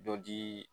Dɔ dii